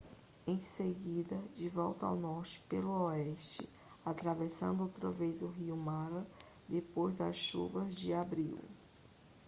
em seguida de volta ao norte pelo oeste atravessando outra vez o rio mara depois das chuvas de abril